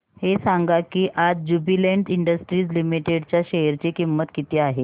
हे सांगा की आज ज्युबीलेंट इंडस्ट्रीज लिमिटेड च्या शेअर ची किंमत किती आहे